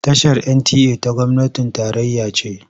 Tashar NTA ta gwamnatin tarayya ce.